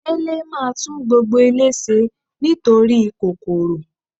Délé máa tún gbogbo ilé ṣe nítorí kòkòrò.